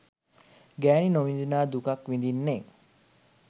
ගෑනි නොවිදිනා දුක් විදින්නේ